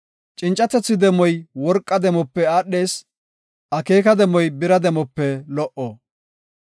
Cincatethi demoy worqa demope aadhees; akeeka demoy bira demope lo77o.